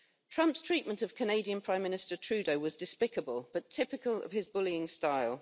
Trump's treatment of Canadian Prime Minister Trudeau was despicable but typical of his bullying style.